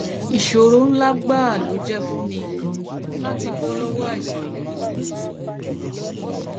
ìṣòro ńlá gbáà ló jẹ fún mi láti bọ bọ lọwọ àìsàn yìí